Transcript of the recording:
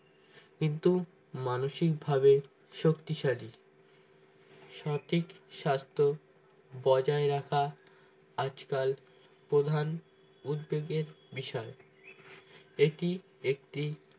কিন্তু মানসিকভাবে শক্তিশালী সঠিক স্বাস্থ্য বজায় রাখা আজকাল প্রধান উদ্বেগের বিষয় এটি একটি